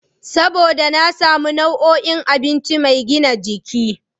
Saboda na samu nau'o'in abinci mai gina jiki.